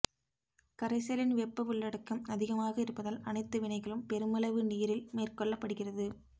கரைசலின் வெப்ப உள்ளடக்கம் அதிகமாக இருப்பதால் அனைத்து வினைகளும் பெருமளவு நீரில் மேற்கொள்ளபடுகிறது